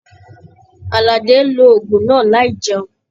Aládé ló òògùn náà láì jẹun